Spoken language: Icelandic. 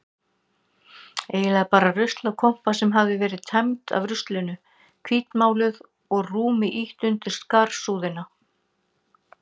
Eiginlega bara ruslakompa sem hafði verið tæmd af ruslinu, hvítmáluð og rúmi ýtt undir skarsúðina.